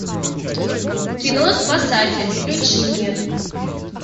кино спасатель включи мне